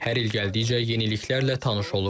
Hər il gəldikcə yeniliklərlə tanış oluruq.